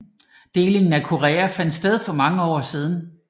Delingen af Korea fandt sted for mange år siden